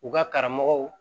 U ka karamɔgɔw